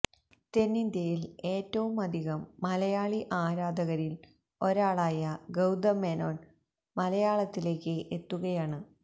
തെന്നിന്ത്യയില് ഏറ്റവും അധികം മലയാളി ആരാധകരില് ഒരാളായ ഗൌതം മേനോന് മലയാളത്തിലേക്ക് എത്തുകയാണ്